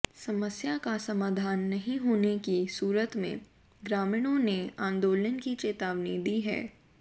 समस्या का समाधान नहीं होने की सूरत में ग्रामीणों ने आंदोलन की चेतावनी दी है